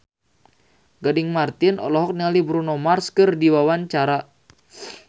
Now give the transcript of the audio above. Gading Marten olohok ningali Bruno Mars keur diwawancara